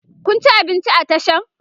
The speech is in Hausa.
Kun ci abinci a Tashan?